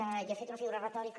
jo he fet una figura retòrica